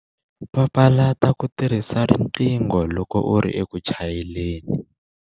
Papalata ku tirhisa riqingho loko u ri eku chayeleni.